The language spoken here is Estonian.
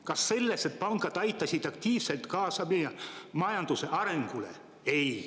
Kas sellest, et pangad aitasid aktiivselt kaasa meie majanduse arengule?